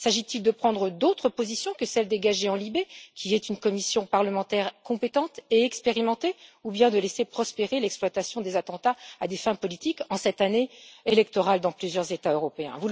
S'agit il de prendre d'autres positions que celles dégagées par LIBE, qui est une commission parlementaire compétente et expérimentée, ou bien de laisser prospérer l'exploitation des attentats à des fins politiques en cette année électorale dans plusieurs États européens?